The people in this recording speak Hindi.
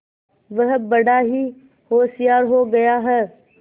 वह बड़ा ही होशियार हो गया है